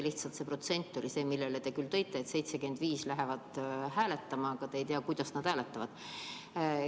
See protsent, mille te tõite, et 75% läheb hääletama – aga te ei tea, kuidas nad hääletavad.